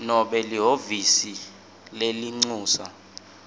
nobe lihhovisi lelincusa